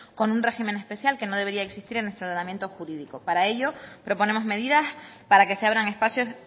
con un régimen especial que no debería existir en nuestro tratamiento jurídico para ello proponemos medidas para que se abran espacios